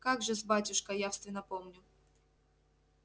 как же-с батюшка явственно помню